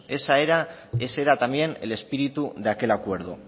ese era también el espíritu de aquel acuerdo